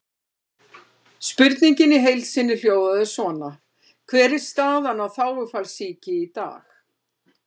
Spurningin í heild sinni hljóðaði svona: Hver er staðan á þágufallssýki í dag?